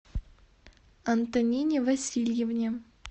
антонине васильевне